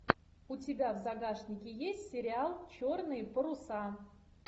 у тебя в загашнике есть сериал черные паруса